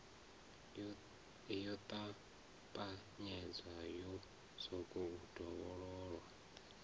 yo ṱapanyedzwa yo sokou dovhololwa